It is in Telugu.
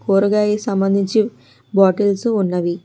ఊరగాయకి సంబంధించి బాటిల్స్ ఉన్నవి.